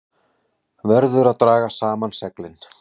Verður að draga saman seglin